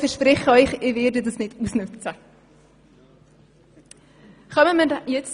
Ich verspreche Ihnen aber, dass ich das nicht ausnützen werde.